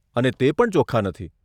અને તે પણ ચોખ્ખા નથી.